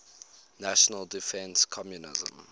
national defense commission